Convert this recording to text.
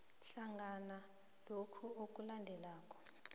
hlangana lokhu okulandelako